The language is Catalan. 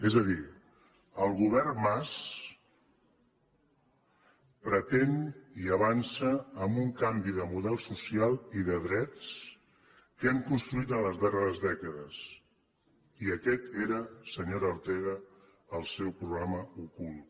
és a dir el govern mas pretén i avança amb un canvi de model social i de drets que hem construït en les darreres dècades i aquest era senyora ortega el seu programa ocult